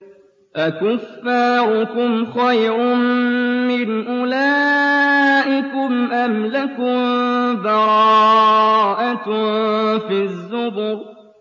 أَكُفَّارُكُمْ خَيْرٌ مِّنْ أُولَٰئِكُمْ أَمْ لَكُم بَرَاءَةٌ فِي الزُّبُرِ